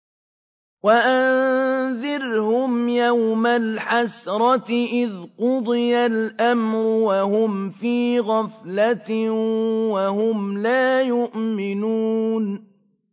وَأَنذِرْهُمْ يَوْمَ الْحَسْرَةِ إِذْ قُضِيَ الْأَمْرُ وَهُمْ فِي غَفْلَةٍ وَهُمْ لَا يُؤْمِنُونَ